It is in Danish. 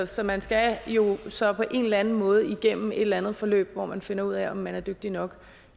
så man skal jo så på en eller anden måde igennem et eller andet forløb hvor nogen finder ud af om man er dygtig nok